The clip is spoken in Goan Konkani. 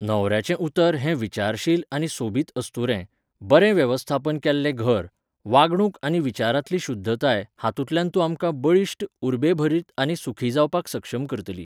न्हवऱ्याचें उतर हे विचारशील आनी सोबीत अस्तुरे, बरें वेवस्थापन केल्लें घर, वागणूक आनी विचारांतली शुध्दताय हातूंतल्यान तूं आमकां बळिश्ट, उर्बेभरीत आनी सुखी जावपाक सक्षम करतली.